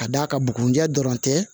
Ka d'a kan bugunija dɔrɔn tɛ